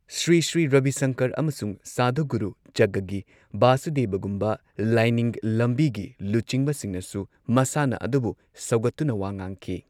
ꯁ꯭ꯔꯤ ꯁ꯭ꯔꯤ ꯔꯕꯤ ꯁꯪꯀꯔ, ꯑꯃꯁꯨꯡ ꯁꯥꯙꯨꯒꯨꯔꯨ ꯖꯒꯒꯤ ꯕꯥꯁꯨꯗꯦꯕꯒꯨꯝꯕ ꯂꯥꯏꯅꯤꯡ ꯂꯝꯕꯤꯒꯤ ꯂꯨꯆꯤꯡꯕꯁꯤꯡꯅꯁꯨ ꯃꯁꯥꯟꯅ ꯑꯗꯨꯕꯨ ꯁꯧꯒꯠꯇꯨꯅ ꯋꯥ ꯉꯥꯡꯈꯤ꯫